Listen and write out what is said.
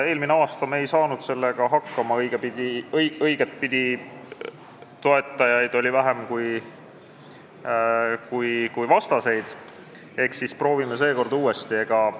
Eelmisel aasta me ei saanud selle muudatusega hakkama – toetajaid oli vähem kui vastaseid –, eks proovime siis seekord uuesti.